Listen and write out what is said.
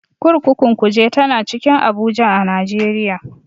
Kurkukun Kuje tana cikin Abuja a Najeriya.